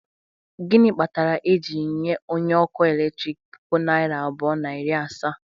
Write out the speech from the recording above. Gịnị kpatara e ji nye onye ọkụ eletrik puku naira abụọ na iri asaa?